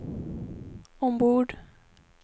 ombord